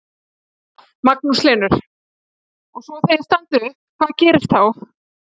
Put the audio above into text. Magnús Hlynur: Og svo þegar þið standið upp, hvað gerist þá?